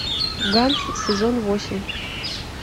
ганс сезон восемь